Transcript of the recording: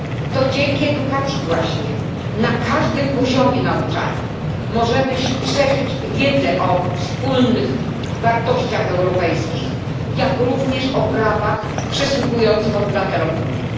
To dzięki edukacji właśnie na każdym poziomie nauczania możemy szerzyć wiedzę o wspólnych wartościach europejskich, jak również o prawach przysługujących obywatelom Unii.